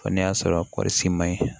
Fɔ n'a y'a sɔrɔ kɔɔrisi ma ɲi